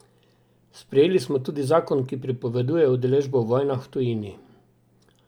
Sprejeli smo tudi zakon, ki prepoveduje udeležbo v vojnah v tujini.